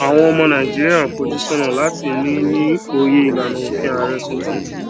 àwọn ọmọ nàìjíríà ń fojú sónà láti ní ní òye ìlànà òfin ààrẹ tuntun